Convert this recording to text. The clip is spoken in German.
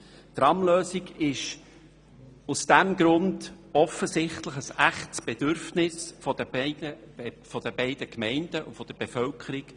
Die Tramlösung entspricht aus diesem Grund offensichtlich einem echten Bedürfnis der beiden Gemeinden und deren Bevölkerung.